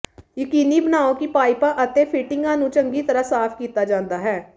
ਯਕੀਨੀ ਬਣਾਓ ਕਿ ਪਾਈਪਾਂ ਅਤੇ ਫਿਟਿੰਗਾਂ ਨੂੰ ਚੰਗੀ ਤਰਾਂ ਸਾਫ ਕੀਤਾ ਜਾਂਦਾ ਹੈ